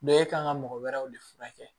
e kan ka mɔgɔ wɛrɛw de furakɛ